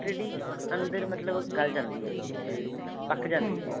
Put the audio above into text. ready ਅੰਦਰ ਮਤਲਬ ਗਲ ਜਾਂਦੀ ਹੈਗੀ ਮਤਲਬ ਪੱਕ ਜਾਂਦੀ ਹੈ ਉਹ